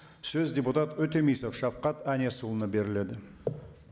сөз депутат өтемісов шавхат әнесұлына беріледі